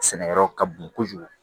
Sɛnɛkɛyɔrɔ ka bon kojugu